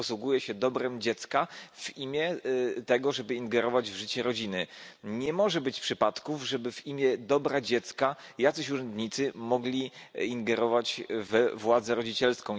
Posługuje się dobrem dziecka w imię ingerencji w życie rodziny. Nie może być przypadków, żeby w imię dobra dziecka urzędnicy mogli ingerować we władzę rodzicielską.